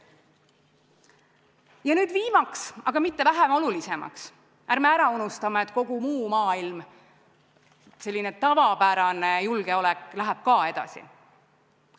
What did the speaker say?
Ja nüüd viimase, aga mitte vähem olulisemana: ärme unustame, et kogu maailm, selline tavapärane julgeolek on olemas ka edaspidi.